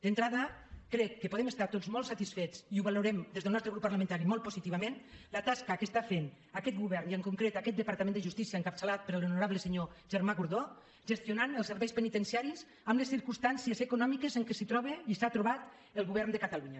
d’entrada crec que podem estar tots molt satisfets i la valorem des del nostre grup parlamentari molt positivament de la tasca que fa aquest govern i en concret aquest departament de justícia encapçalat per l’honorable senyor germà gordó gestionant els serveis penitenciaris en les circumstàncies econòmiques en què es troba i s’ha trobat el govern de catalunya